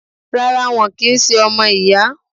Rárá, wọn kì í ṣe ọmọ ìyá.